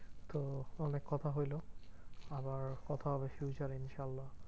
তো অনেক কথা হইলো আবার কথা হবে ইনশাআল্লা।